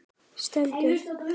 Stend upp.